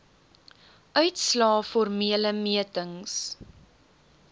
uitslae formele metings